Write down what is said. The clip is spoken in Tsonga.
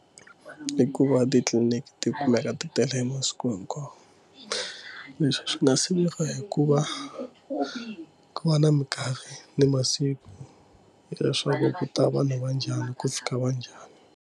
I ku va titliliniki ti kumeka ti tele masiku hinkwawo leswi swi nga siveriwa hi ku va ku va na minkarhi ni masiku leswaku ku ta vanhu va njhani ku fika va njhani.